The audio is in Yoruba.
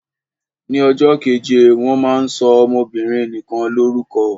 Ni ọjọ́ keje wọ́n máa ń sọ ọmọbinrin nikan lórúkọ.